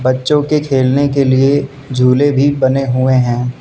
बच्चों के खेलने के लिए झूले भी बने हुए हैं।